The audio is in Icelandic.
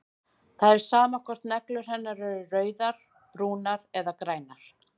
Það er sama hvort neglur hennar eru rauðar, brúnar eða grænar.